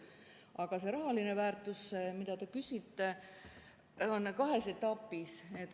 Aga raha, mille kohta te küsite, on kahes etapis.